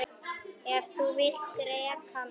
Ef þú vilt reka mig?